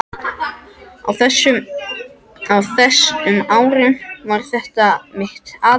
Á þess- um árum var þetta mitt aðalstarf.